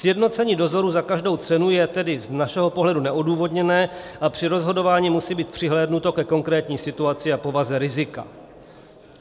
Sjednocení dozorů za každou cenu je tedy z našeho pohledu neodůvodněné a při rozhodování musí být přihlédnuto ke konkrétní situaci a povaze rizika.